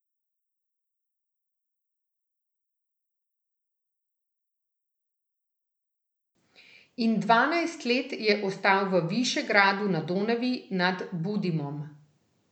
In dvanajst let je ostal v Višegradu na Donavi, nad Budimom.